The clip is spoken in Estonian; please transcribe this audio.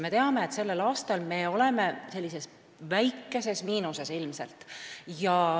Me teame, et sellel aastal me oleme ilmselt väikeses miinuses.